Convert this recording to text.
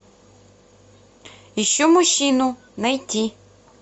ищу мужчину найти